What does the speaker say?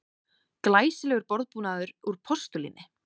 Glæsilegur borðbúnaður úr postulíni